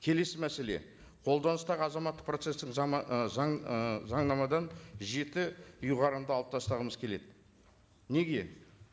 келесі мәселе қолданыстағы азаматтық процесстік ы заң ы заңнамадан жеті ұйғарымды алып тастағымыз келеді неге